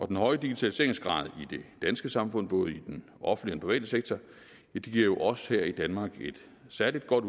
den høje digitaliseringsgrad i det danske samfund både i den offentlige private sektor giver jo os her i danmark et særlig godt